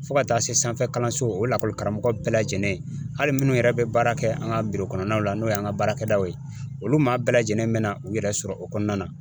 Fo ka taa se sanfɛ kalanso o lakɔli karamɔgɔ bɛɛ lajɛlen ,hali minnu yɛrɛ bɛ baara kɛ an ka kɔnɔnaw la, n'o y'an ka baarakɛdaw ye , olu maa bɛɛ lajɛlen bɛ na u yɛrɛ sɔrɔ o kɔnɔna na.